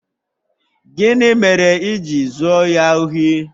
Gịnị mere i ji zuo ya ohi?